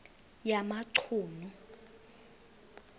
yamachunu